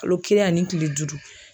Kalo kelen ani kile duuru.